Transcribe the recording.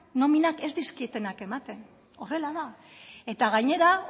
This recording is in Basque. nominak ez dizkietenak ematen horrela da eta gainera